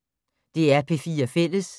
DR P4 Fælles